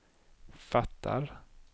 fattar